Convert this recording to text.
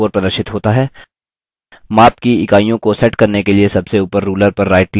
माप की इकाइयों को set करने के लिए सबसे ऊपर ruler पर rightclick करें